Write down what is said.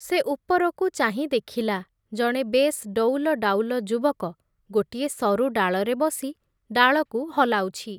ସେ ଉପରକୁ ଚାହିଁ ଦେଖିଲା, ଜଣେ ବେଶ୍ ଡଉଲଡାଉଲ ଯୁବକ ଗୋଟିଏ ସରୁ ଡାଳରେ ବସି ଡାଳକୁ ହଲାଉଛି ।